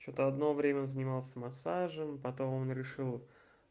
что-то одно время он занимался массажем потом он решил